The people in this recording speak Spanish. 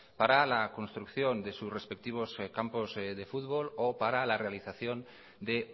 para la construcción de sus respectivos campos de fútbol o para la realización de